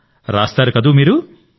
అయితే రాస్తారు మీరు